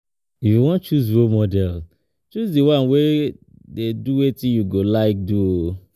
If you wan choose role model choose di one wey dey do wetin you go like do